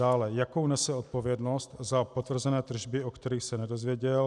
Dále, jakou nese odpovědnost za potvrzené tržby, o kterých se nedozvěděl?